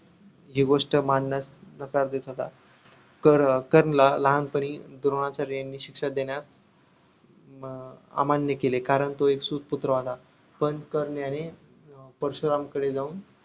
हि गोष्ट मानण्यास नकार देत होता तर कर्णला लहानपणी द्रोणाचार्यानी शिक्षा देण्यास अं अमान्य केले कारण तो एक सूत पुत्र होता पण कर्ण याने अं परशुरामकडे जाऊन